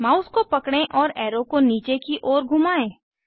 mouse को पकड़ें और एरो को नीचे की ओर घुमाएं